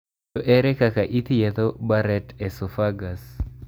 To ere kaka ithietho Barrett esophagus?